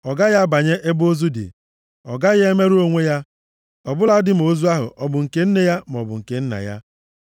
Ọ gaghị abanye ebe ozu dị. Ọ gaghị emerụ onwe ya, ọ bụladị ma ozu ahụ ọ bụ nke nne ya maọbụ nke nna ya.